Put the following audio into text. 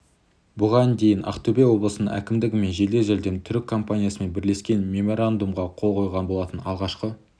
бұған дейін ақтөбе облысының әкімдігі мен жедел жәрдем түрік компаниясымен бірлескен меморандумға қол қойған болатын алғашқы